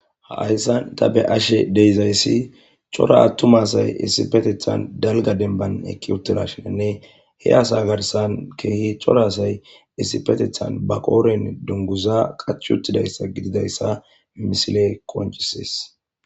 Hayssan tha be7ashee de7izayssi cora aththuma asay issippetheththan dalgga dembban eqii7uththidaashininne he asaa garssan keehi cora asay issippetheththan ba qooren dungguzaa qacachchi uththidayssa gididayssa misilee qonccissees.